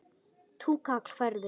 Túkall færðu!